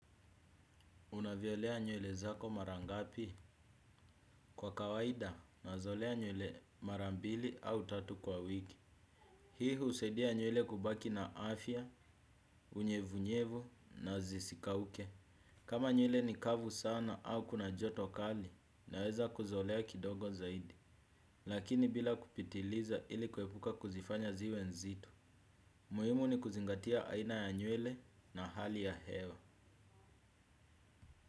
Unavyoelea nywele zako mara ngapi kwa kawaida nazolea nywele mara mbili au tatu kwa wiki. Hii usadia nywele kubaki na afya, unyevunyevu na zisikauke. Kama nywele ni kavu sana au kuna joto kali naweza kuzolea kidogo zaidi. Lakini bila kupitiliza ili kwepuka kuzifanya ziwe nzito. Muimu ni kuzingatia aina ya nywele na hali ya hewa.